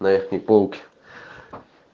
на верхней полке